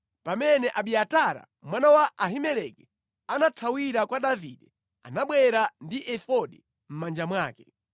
(Pamene Abiatara mwana wa Ahimeleki anathawira kwa Davide anabwera ndi efodi mʼmanja mwake).